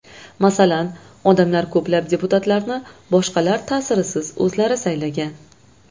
Masalan, odamlar ko‘plab deputatlarni boshqalar ta’sirisiz o‘zlari saylagan.